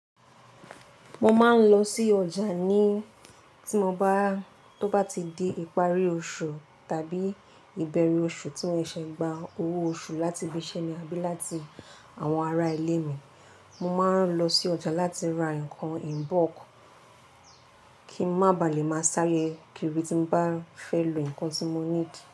Mo máa ń lọ sí ọjà ní tí mo bá, tó bá ti di ìparí oṣù tàbí ìbẹ̀rẹ̀ oṣù tí mo ṣe gba owó oṣù láti ibi iṣẹ́ mi àbí láti àwọn ará ilé mi, mo máa ń lọ sí ọjà láti ra nǹkan in bulk kí ń má ba à lè máa sáré kiri tí n bá fẹ́ lo nǹkan tí mo need.